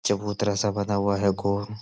चबूतरा सा बना हुआ है गोल।